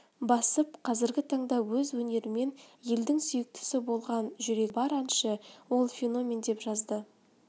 басып қазіргі таңда өз өнерімен елдің сүйіктісі болған жүрегі бар әнші ол феномен деп жазды